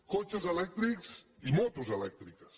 cotxes elèctrics i motos elèctriques